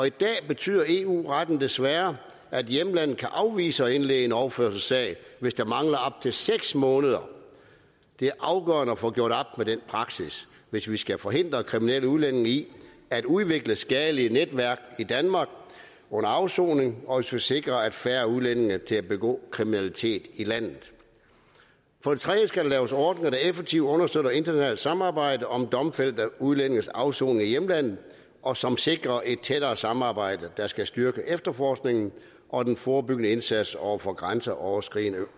i dag betyder eu retten desværre at hjemlandet kan afvise at indlede en overførselssag hvis der mangler op til seks måneder det er afgørende at få gjort op med den praksis hvis vi skal forhindre kriminelle udlændinge i at udvikle skadelige netværk i danmark under afsoning og skal sikre at færre udlændinge begår kriminalitet i landet for det tredje skal der laves ordninger der effektivt understøtter internationalt samarbejde om domfældte udlændinges afsoning i hjemlandet og som sikrer et tættere samarbejde der skal styrke efterforskningen og den forebyggende indsats over for grænseoverskridende